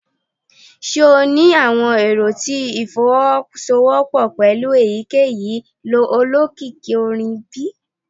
Ṣe o ni awọn ero ti ifowosowopo pẹlu eyikeyi olokiki orin bi?